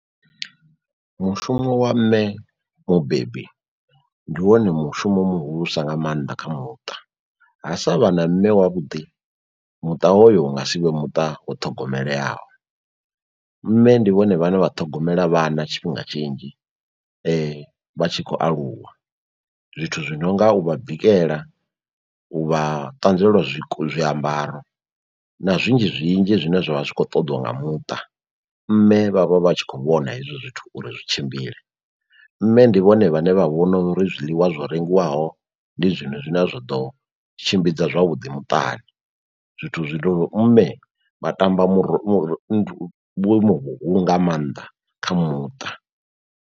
Mushumo wa mme mubebi ndi wone mushumo muhulusa nga maanḓa kha muṱa. Ha sa vha na mme wa vhuḓi muṱa hoyo u nga si vhe muṱa wo ṱhogomeleaho. Mme ndi vhone vhane vha ṱhogomela vhana tshifhinga tshinzhi vha tshi khou aluwa. Zwithu zwi nonga u vha bikela, u vha ṱanzwela zwi zwiambaro na zwinzhi zwinzhi zwine zwavha zwi kho ṱoḓiwa nga muṱa. Mme vha vha vha tshi khou vhona hezwo zwithu uri zwi tshimbile nṋe ndi vhone vhane vha vhona uri zwiḽiwa zwo rengiwaho ndi zwone zwine zwa ḓo tshimbidza zwavhuḓi muṱani. Zwithu zwi no uri mme vha tamba murahu vhuimo vhuhulu nga maanḓa kha muṱa.